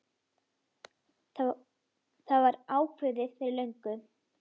Það var ákveðið fyrir löngu.